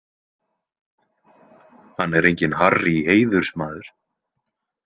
Hann er enginn Harrý heiðursmaður.